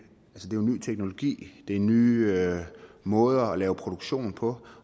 ny teknologi det er nye måder at lave produktion på